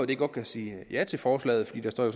det godt kan sige ja til forslaget for der står jo